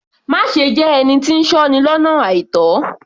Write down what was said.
Má ṣe jẹ́ ẹni tí ń sọ́ni lọ́nà àìtó